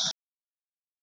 Hún bjó í ró.